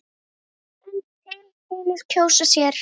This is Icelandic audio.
einn til hinir kjósa sér.